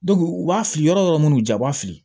u b'a fili yɔrɔ yɔrɔ minnu ja u b'a fili